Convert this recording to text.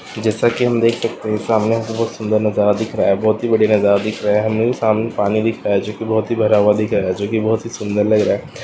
जैसा की हम देख सकते है सामने बहुत सुंदर नजारा दिख रहा है बहुत ही बढियाँ दिख रहा है सामने पानी दिख रहा है जोकि बहोत ही भरा दिख रहा है जोकि बहोत ही सुंदर लग रहा है।